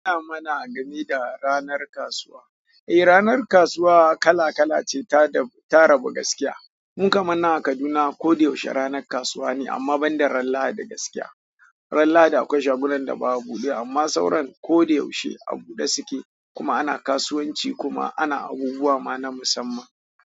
Ina mana gani da ranar kasuwa. Eh ranar kasuwa kala kala ce ta rabu gaskiya. Mu kamar nan a Kaduna ko da yaushe ranar kasuwa ne amma banda ranar Lahadi gaskiya. Ran Lahadi akwai shagunan da ba a buɗe amma sauran ko da yaushe a buɗe suke kuma ana kasuwanci kuma ana abubuwa ma na musamman.